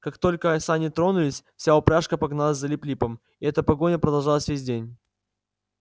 как только сани тронулись вся упряжка погналась за лип липом и эта погоня продолжалась весь день